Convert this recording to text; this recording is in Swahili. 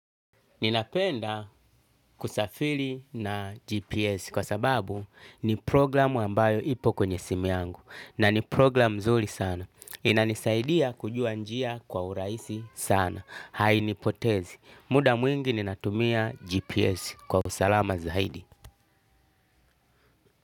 Ninapenda kusafili na GPS kwa sababu ni program ambayo ipo kwenye simu yangu na ni program mzuri sana. Inanisaidia kujua njia kwa uraisi sana. Hainipotezi. Muda mwingi ninatumia GPS kwa usalama zaidi.